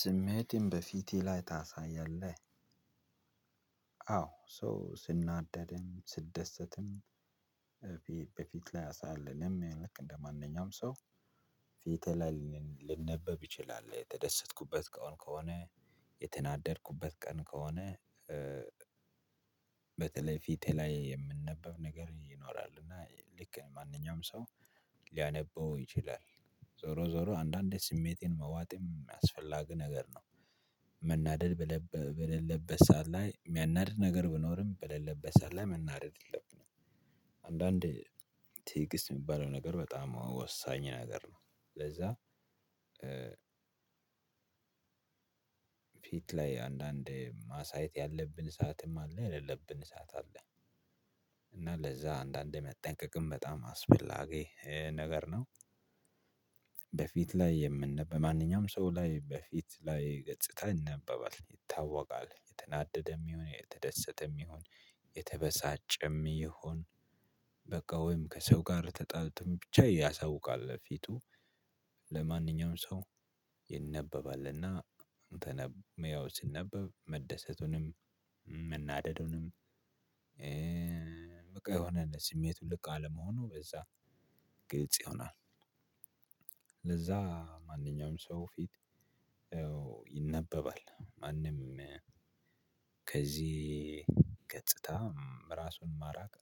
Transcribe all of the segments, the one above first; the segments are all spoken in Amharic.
ስሜቴን በፊቴ ላይ ታሳያለህ? አዎ ሰው ስናደድም ስደሰትም በፊት ላይ ያሳያል እኔም ልክ እንደማንኛውም ሰው ፊቴ ላይ ሊነበብ ይችላል የተደሰትኩበት ቀን ከሆነ የተናደድኩበት ቀን ከሆነ። በተለይ ፊቴ ላይ የምነበብ ነገር ይኖራል እና ልክ ማንኛውም ሰው ሊያነበው ይችላል። ዞሮ ዞሮ አንዳንዴ ስሜቴን መዋጥም አስፈላጊ ነገር ነው። መናደድ በሌለበት ሰዓት ላይ የሚያናድድ ነገር ቢኖርም በሌለበት ሰዓት ላይ መናደድ የለብንም። አንዳንዴ ትይግስት የሚባለው ነገር በጣም ወሳኝ ነገር ነው። ለዛ ፊት ላይ አንዳንዴ ማሳየት ያለብን ሰዓትም አለ የሌለብን ሰዓት አለ። እና ለዛ አንዳንዴ መጠንቀቅም በጣም አስፈላጊ ነገር ነው። በፊት ላይ የምን በማንኛውም ሰው ላይ በፊት ላይ ገጽታ ይነበባል ይታወቃል የተናደደም ይሁን የተደሰተም ይሁን የተበሳጨም ይሁን። በቃ ወይም ከሰው ተጣልቶም ብቻ ያሳውቃል ፊቱ ለማንኛውም ሰው ይነበባልና አንተነ ያው ሲነበብ መደሰቱንም መናደዱንም። በቃ የሆነ ስሜቱን ልክ አለመሆኑ በዛ ግልጽ ይሆናል። ለዛ ማንኛውም ሰው ፊት ይነበባል ማንም ከዚህ ገጽታ ራሱን ማራቅ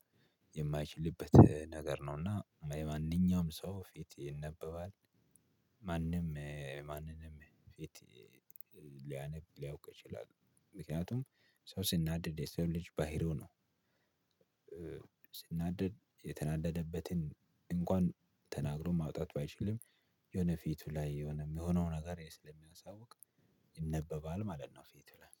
የማይችልበት ነገር ነውና የማንኛውም ሰው ፊት ይነበባል። ማንም ማንንም ፊት ሊያነብ ሊያውቅ ይችላል ምክንያቱም ሰው ሲናደድ የሰው ልጅ ባህሪው ነው። ስናደድ የተናደደበትን እንኳን ተናግሮ ማውጣት ባይችልም የሆነ ፊቱ ላይ የሆነ ሚሆነው ነገር ስለሚያሳውቅ ይነበባል ማለት ነው። ፊቱ ላይ